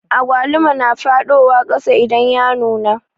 Agwaluma na faɗiwa kasa idan ya nuna